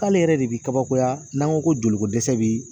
K'ale yɛrɛ de bi kabakoya n'an ko ko joliko dɛsɛ bi